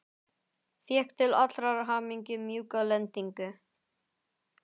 Fékk til allrar hamingju mjúka lendingu.